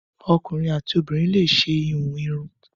Ọkunrin ati obinrin le ṣe ihun irun.